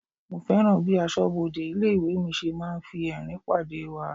Mo fẹ́ràn bí aṣọbode ilé-ìwé mi ṣe máa ń fi ẹrin pàdé wa.